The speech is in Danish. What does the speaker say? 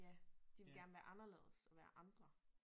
Ja de vil gerne være anderledes og være andre